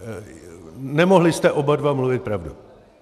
Nemohli jste oba dva mluvit pravdu.